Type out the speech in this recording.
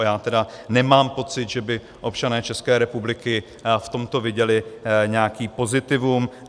A já tedy nemám pocit, že by občané České republiky v tomto viděli nějaký pozitivum.